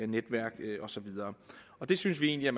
netværk og så videre det synes vi egentlig at